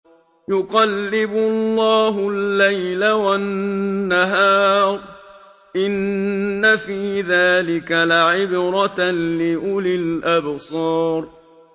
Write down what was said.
يُقَلِّبُ اللَّهُ اللَّيْلَ وَالنَّهَارَ ۚ إِنَّ فِي ذَٰلِكَ لَعِبْرَةً لِّأُولِي الْأَبْصَارِ